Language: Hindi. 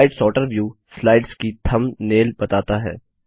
स्लाइड सॉर्टर व्यू स्लाइड्स की थम्बनेल बताता है